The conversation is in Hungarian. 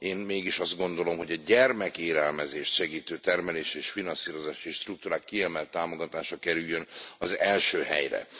Én mégis azt gondolom, hogy a gyermekélelmezést segítő termelési és finanszírozási struktúrák kiemelt támogatása kerüljön az első helyre.